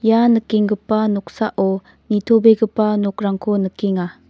ia nikenggipa noksao nitobegipa nokrangko nikenga.